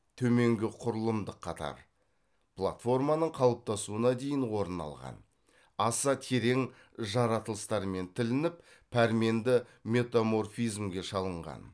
төменгі құрылымдық қатар платформаның қалыптасуына дейін орын алған аса терең жарылыстармен тілініп пәрменді метаморфизмге шалынған